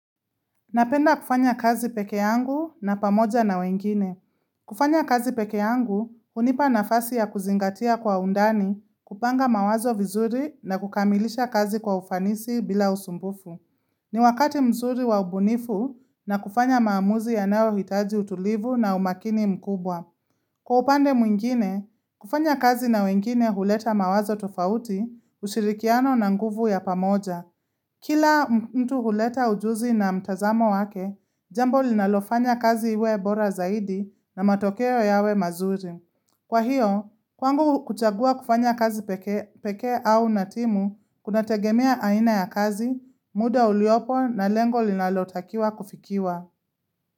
Napenda kufanya kazi pekee yangu na pamoja na wengine. Kufanya kazi pekee yangu, hunipa nafasi ya kuzingatia kwa undani, kupanga mawazo vizuri na kukamilisha kazi kwa ufanisi bila usumbufu. Ni wakati mzuri wa ubunifu na kufanya maamuzi yanayohitaji utulivu na umakini mkubwa. Kufanya kazi pekee yangu, hunipa nafasi ya kuzingatia kwa undani, kupanga mawazo vizuri na kukamilisha kazi kwa ufanisi bila usumbufu. Ni wakati mzuri wa ubunifu na kufanya maamuzi yanayohitaji utulivu na umakini mkubwa. Kwa upande mwingine, kufanya kazi na wengine huleta mawazo tofauti, ushirikiano na nguvu ya pamoja.